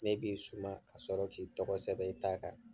Ne b'i suma ka sɔrɔ k'i tɔgɔ sɛbɛn i ta kan.